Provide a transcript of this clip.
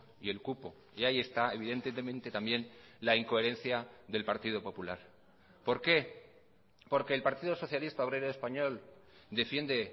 y el cupo y ahí está evidentemente también la incoherencia del partido popular por qué porque el partido socialista obrero español defiende